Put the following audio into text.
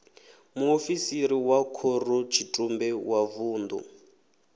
muofisiri wa khorotshitumbe wa vunḓu